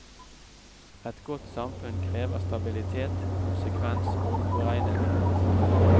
Et godt samfunn krever stabilitet, konsekvens og påregnelighet.